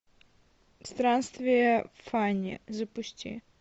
странствие фанни запусти